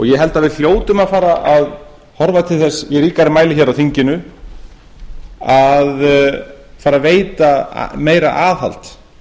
ég held að við hljótum að fara að horfa til þess í ríkari mæli hér á þinginu að fara að veita meira aðhald